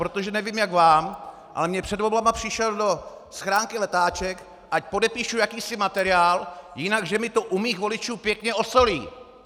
Protože nevím, jak vám, ale mně před volbami přišel do schránky letáček, ať podepíšu jakýsi materiál, jinak že mi to u mých voličů pěkně osolí.